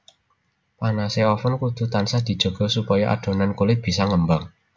Panase oven kudu tansah dijaga supaya adonan kulit bisa ngembang